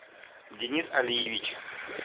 денис алиевич